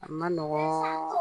A man nɔgɔn